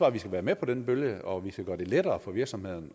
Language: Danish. at vi skal være med på den bølge og at vi skal gøre det lettere for virksomhederne